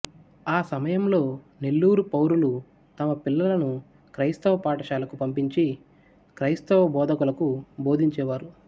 ఆ సమయంలో నెల్లూరు పౌరులు తమ పిల్లలను క్రైస్తవ పాఠశాలకు పంపించి క్రైస్తవ బోధకులకు బోధించేవారు